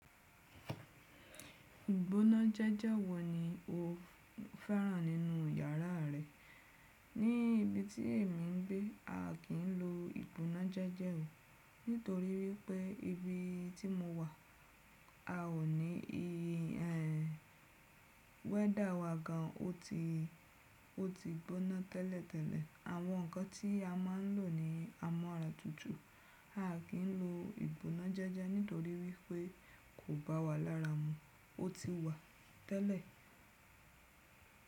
Ìgbóná jẹ́jẹ́ wọ̀ ní o fẹ́ràn nínú yàrá rẹ. Ní ibi tí èmi n gbé, a kí ń lo ìgbóná jẹ́jẹ́ nítorí wípé ibi tí mo wà a ò ní i ẹ. Weather wa gan o ti, o ti gbóná tẹ́lẹ̀tẹ́lẹ̀. Àwọn ǹkan tí a má n lò ní amọ́ra tútù. A kì ń lo ìgbóná jẹ́jẹ́ nítorí wípé kò bá wa lára mu. O ti wa tẹ́lẹ̀.